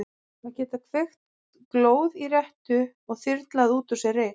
Að geta kveikt glóð í rettu og þyrlað út úr sér reyk.